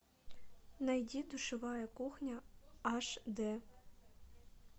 найди душевая кухня аш дэ